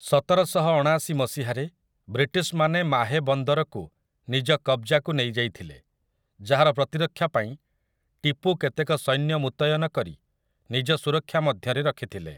ସତରଶହଅଣାଶି ମସିହାରେ ରେ ବ୍ରିଟିଶମାନେ ମାହେ ବନ୍ଦରକୁ ନିଜ କବଜାକୁ ନେଇଯାଇଥିଲେ, ଯାହାର ପ୍ରତିରକ୍ଷାପାଇଁ ଟିପୁ କେତେକ ସୈନ୍ୟ ମୁତୟନ କରି ନିଜ ସୁରକ୍ଷା ମଧ୍ୟରେ ରଖିଥିଲେ ।